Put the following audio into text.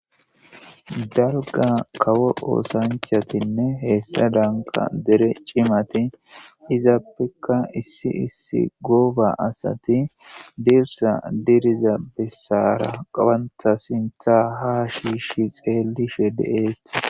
Darga kawo oosanchatinne heessa danka dere cimati izaappekka issi issi gooba asati dibsa diriza bessaara qawantha sintha ha shiishi xeellishe de7eeti